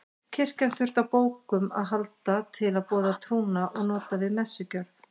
Kirkjan þurfti á bókum að halda til að boða trúna og nota við messugjörð.